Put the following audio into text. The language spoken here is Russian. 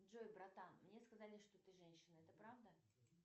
джой братан мне сказали что ты женщина это правда